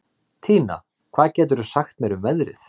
Tína, hvað geturðu sagt mér um veðrið?